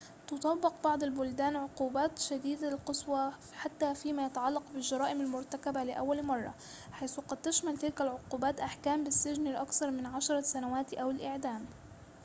تُطبق بعض البلدان عقوبات شديدة القسوة حتى فيما يتعلق بالجرائم المرتكبة لأول مرة حيث قد تشمل تلك العقوبات أحكام بالسجن لأكثر من 10 سنوات أو الإعدام